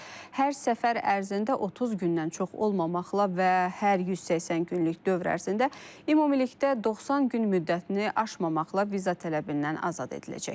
Hər səfər ərzində 30 gündən çox olmamaqla və hər 180 günlük dövr ərzində ümumilikdə 90 gün müddətini aşmamaqla viza tələbindən azad ediləcək.